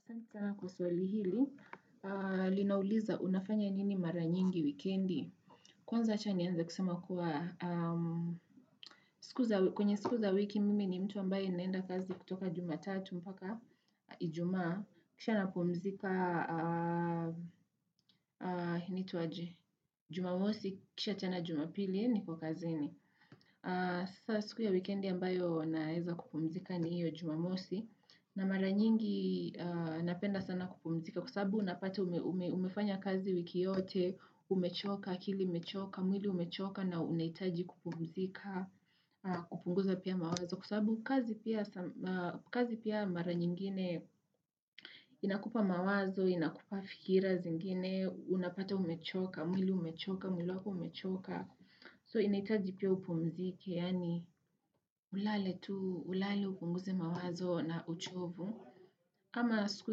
Asanti sana kwa swali hili, linauliza unafanya nini mara nyingi wikendi. Kwanza acha nianze kusema kuwa, aaah mh kwenye siku za wiki mimi ni mtu ambaye naenda kazi kutoka jumatatu mpaka ijumaa, kisha napumzika aah Jumamosi, kisha tena jumapili niko kazini. Aaah Sasa siku ya wikendi ambayo naeza kupumzika ni hiyo jumamosi, na mara nyingi aah napenda sana kupumzika. Kwa sababu unapata ume ume umefanya kazi wiki yote, umechoka, akili imechoka, mwili umechoka na unahitaji kupumzika, kupunguza pia mawazo. Kwa sababu kazi pia some aaah kazi pia mara nyingine inakupa mawazo, inakupa fikira zingine, unapata umechoka, mwili umechoka, mwili wako umechoka. So inaitaji pia upumzike, yani ulale tu, ulale upunguze mawazo na uchovu. Ama siku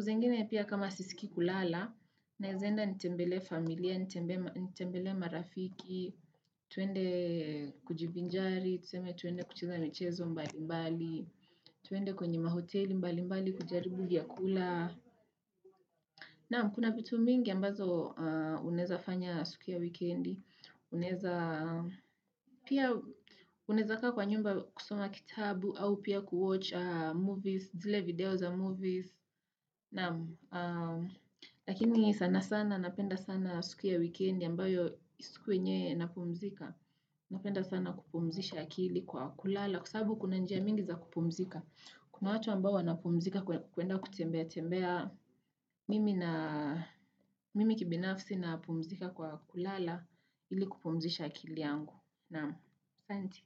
zengine pia kama siskii kulala naeza enda nitembelee familia, nitembe ma nitembelee marafiki, twende kujibinjari, twende kucheza michezo mbali mbali, twende kwenye mahoteli mbali mbali kujaribu vyakula. Naam, kuna vitu mingi ambazo aaah unaeza fanya siku ya wikendi unaweza aaah, unaeza kaa kwa nyumba kusoma kitabu au pia kuwatch movies, zile video za movies, naam aaaah, lakini sana sana, napenda sana siku ya wikendi ambayo siku yenye napumzika. Napenda sana kupumzisha akili kwa kulala kwa sababu kuna njia mingi za kupumzika kuna watu ambao wanapumzika kwe kwenda kutembea tembea mimi na mimi kibinafsi napumzika kwa kulala ili kupumzisha akili yangu naam asanti.